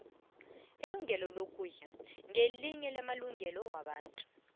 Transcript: ilungelo lokudla ngelinye lamalungelo wabantu